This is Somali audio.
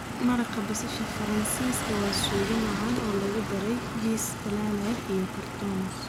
Maraq basasha Faransiiska waa suugo macaan oo lagu daray jiis dhalaalay iyo croutons.